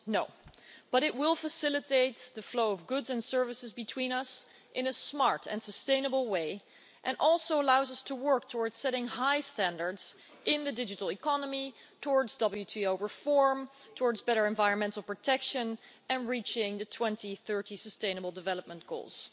No, but it will facilitate the flow of goods and services between us in a smart and sustainable way, and it also allows us to work towards setting high standards in the digital economy, towards WTO reform, towards better environmental protection and reaching the 2030 Sustainable Development Goals.